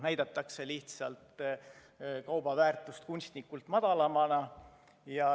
Näidatakse lihtsalt kauba väärtust kunstlikult madalamana.